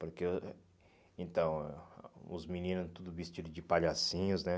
Porque eu... Então, os meninos tudo vestido de palhacinhos, né?